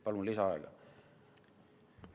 Palun lisaaega!